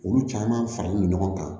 Olu caman faralen no ɲɔgɔn kan